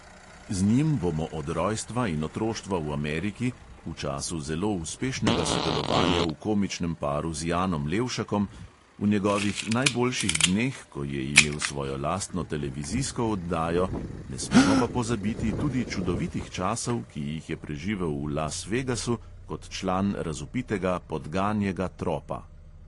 Z njim bomo od rojstva in otroštva v ameriki, v času zelo uspešnega sodelovanja v komičnem paru z janom levšakom, v njegovih najboljših dneh, ko je imel svojo lastno televizijsko oddajo, ne smemo pa pozabiti tudi čudovitih časov, ki jih je preživel v las vegasu kot član razvpitega podganjega tropa.